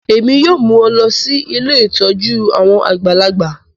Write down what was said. Èmi yoo mu ọ lọ si ilé ìtójú àwon àgbàlagbà